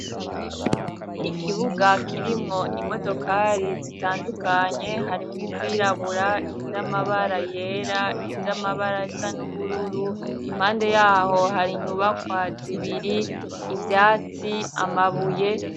Ikibuga kirimwo imodokari zitandukanye harimwo izirabura, iz'amabara yera, iz'amabara asa n'ubururu impande yaho hari inyubakwa zibiri, ivyatsi, amabuye.